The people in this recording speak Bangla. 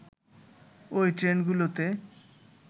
ওই ট্রেনগুলোতে